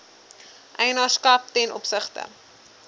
eienaarskap ten opsigte